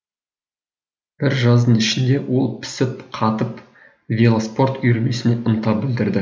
бір жаздың ішінде ол пісіп қатып велоспорт үйірмесіне ынта білдірді